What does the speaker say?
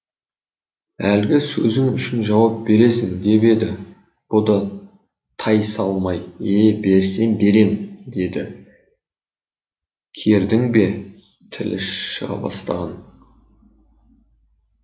әлгі сөзің үшін жауап бересің деп еді бұ да тайсалмай е берсем берем деді кердің бе тілі шыға бастаған